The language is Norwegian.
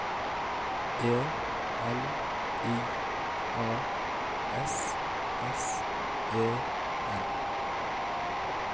E L I A S S E N